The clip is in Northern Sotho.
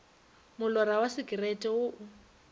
molora wa sekerete wo o